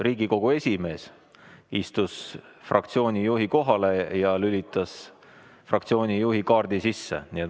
Riigikogu esimees istus fraktsiooni juhi kohale ja lülitas oma kaardi sisse.